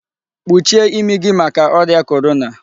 kpuchie imi gi maka oria Korona